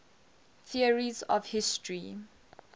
theories of history